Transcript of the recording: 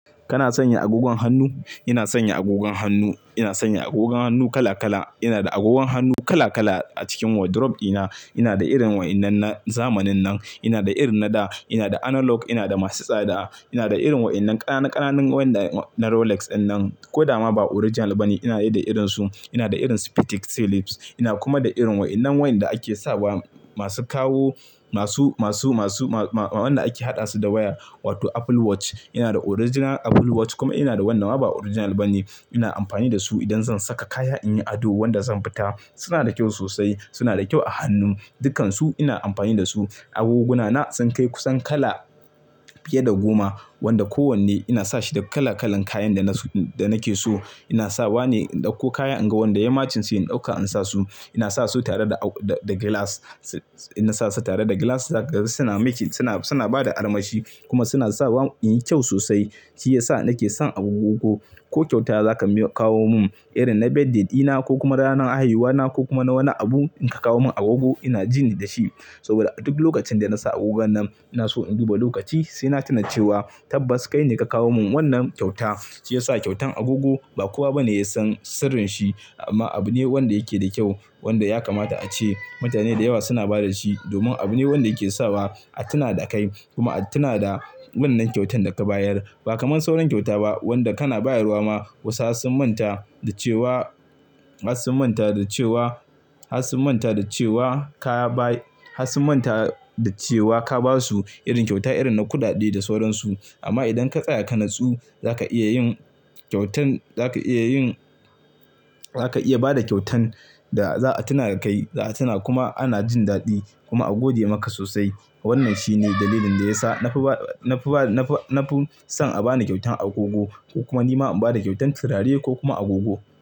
Kana sanya agogon hannu? Ina sanya agogon hannu. Ina sanya agogon hannu kala kala. Ina da agogon hannu kala kala a cikin wardrobe dina. Ina da irin waɗannan na zamanin nan, ina da irin na da, ina da analog, ina da masu tsada. Ina da irin waɗannan ƙananan wanda na Rolex ɗin nan ko da ma ba original bane. Ina da irin su, ina da irin Spetic Celebs. Ina kuma da irin waɗannan wanda ake sawa masu kawo, masu, masu, masu, waɗanda ake haɗa su da waya wato Apple Watch. Ina da original Apple Watch kuma ina da wannan ba original bane. Ina amfani da su idan zan saka kaya in yi ado wanda zan fita. Suna da kyau sosai, suna da kyau a hannun. Dukansu ina amfani da su. Agoguna na sun kai kusan kala fiye da goma wanda kowanne ina sa shi da kala kalan kayan da nake so. Ina sawa ne indauko kaya in ga wanda ya matsinci in ɗauka in sa su. Ina sa su tare da glass. Ina sa su tare da glass suna miki, suna, suna ba da armashi kuma suna sawa in yi kyau sosai. Shi ya sa nake son agogogo. Ko kyauta za ka kawo mun irin na birthday dina ko kuma ranar haihuwa na ko kuma na wani abu, in ka kawo mun agogo ina ji ni da shi. Saboda a duk lokacin da na sa agogan nan ina so in duba lokaci sai na tuna cewa tabbas kai ne ka kawo mun wannan kyauta. Shi ya sa kyautan agogo ba kowa bane ya san sirrin shi amma abu ne wanda yake da kyau wanda ya kamata a ce. Mutane da yawa suna ba da shi domin abu ne wanda yake sawa a tuna da kai kuma a tuna da wannan kyautan da ka bayar. Ba kamar sauran kyauta ba wanda kana bayarwa ma wasu har sun manta da cewa, har sun manta da cewa, har sun manta da cewa ka bai, har sun manta da cewa ka ba su irin kyauta irin na kuɗaɗe da sauransu. Amma idan ka tsaya ka natsu za ka iya yin kyautan, za ka iya yin, za ka iya ba da kyautan da za a tuna kai, za a tuna kuma ana jin daɗi kuma a gode maka sosai. Wannan shi ne dalilin da ya sa na fi ba, na fi ba, na fi son a ba ni kyautan agogo ko kuma ni ma in ba da kyautan turare ko kuma agogo.